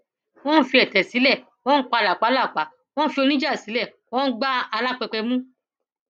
wọn fi ètè sílẹ wọn ń pa làpálàpá wọn fi oníjà sílẹ wọn gbá alápèpé mú